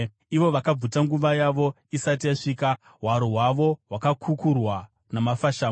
Ivo vakabvutwa nguva yavo isati yasvika, hwaro hwavo hwakakukurwa namafashamu.